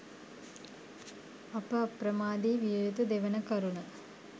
අප අප්‍රමාදී විය යුතු දෙවන කරුණ